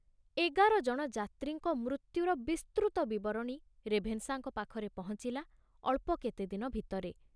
ଏଗାର ଜଣ ଯାତ୍ରୀଙ୍କ ମୃତ୍ୟୁର ବିସ୍ତୃତ ବିବରଣୀ ରେଭେନଶାଙ୍କ ପାଖରେ ପହଞ୍ଚିଲା ଅଳ୍ପ କେତେ ଦିନ ଭିତରେ।